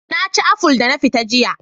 Na ci aful da na fita jiya